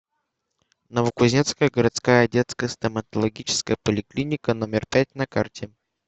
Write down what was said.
новокузнецкая городская детская стоматологическая поликлиника номер пять на карте